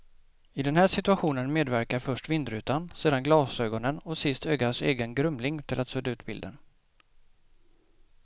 I den här situationen medverkar först vindrutan, sedan glasögonen och sist ögats egen grumling till att sudda ut bilden.